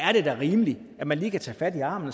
er det da rimeligt at man lige kan tage fat i armen